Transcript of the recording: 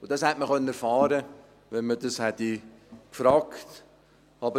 Das hätte man erfahren können, wenn man danach gefragt hätte.